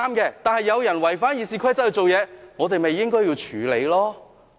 若有人違反《議事規則》行事，我們便應該處理了。